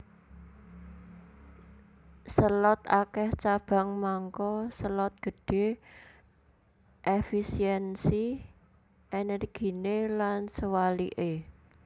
Selot akèh cabang mangka selot gedhé efisiensi ènèrginé lan sewaliké